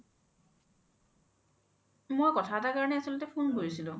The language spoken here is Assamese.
মই কথা এটাৰ কাৰনে phone কৰিছিলো